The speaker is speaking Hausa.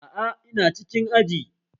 Aa, ina cikin aji